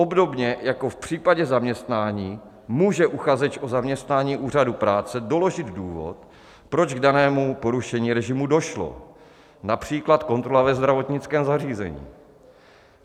Obdobně jako v případě zaměstnání může uchazeč o zaměstnání Úřadu práce doložit důvod, proč k danému porušení režimu došlo, například kontrola ve zdravotnickém zařízení.